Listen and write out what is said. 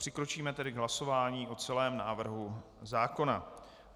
Přikročíme tedy k hlasování o celém návrhu zákona.